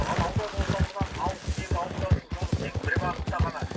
ал аудан орталығынан алыс кейбір ауылдардың жолы тек бір бағытта ғана